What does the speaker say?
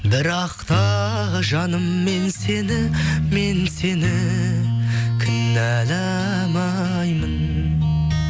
бірақ та жаным мен сені мен сені кінәламаймын